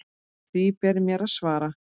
Því ber mér að svara.